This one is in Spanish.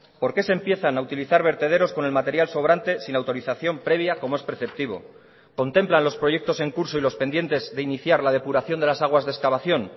por qué se empiezan a utilizar vertederos con el material sobrante sin autorización previa como es preceptivo contemplan los proyectos en curso y los pendientes de iniciar la depuración de las aguas de excavación